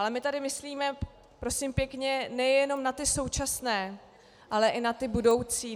Ale my tady myslíme, prosím pěkně, nejenom na ty současné, ale i na ty budoucí.